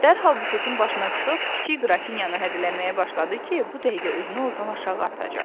Dərhal bufetin başına çıxıb, kiçik Qrafinyanı hədələməyə başladı ki, bu dəqiqə özünü ordan aşağı atacaq.